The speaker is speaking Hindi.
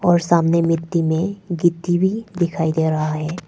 और सामने मिट्टी में गिट्टी भी दिखाई दे रहा है।